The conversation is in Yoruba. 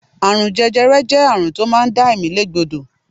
Àrùn jẹjẹrẹ jẹ́ àrùn tó máa ń dá ẹ̀mí lé gbódò.